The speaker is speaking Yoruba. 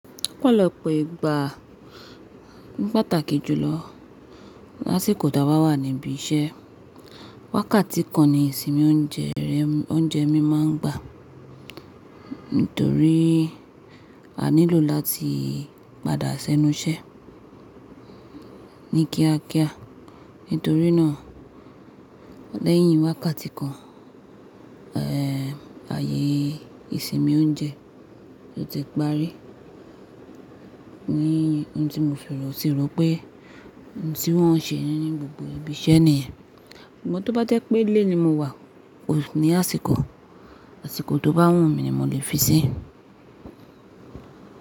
Ọ̀pọ̀lọpọ̀ ìgbà ní pàtàkì jùlọ lásìkò tí a bá wà níbi iṣẹ́. Wákàtí kan ni ìsinmi oúnjẹ rẹ oúnjẹ mi máa ń gbà. Nítorí a nílò láti padà sẹ́nu iṣẹ́ ní kíákíá. Nítorí náà lẹ́yìn wákàtí kan, eh ayé ìsinmi oúnjẹ yóò ti parí. Ni ohun tí mo fi rò tí rò pé ohun tí wọ́n n ṣe ní gbogbo ibi iṣẹ́ nìyẹn. Ṣùgbọ́n tó bá jẹ́ pé ilé ni mo wà ní àsìkò, àsìkò tó bá wù mí ni mo lè fi sí.